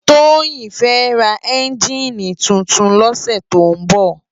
Toyin fè rá ènjini tútún lòsè tó n bò